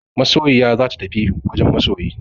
Masoyiya za ta tafi wajen masoyi.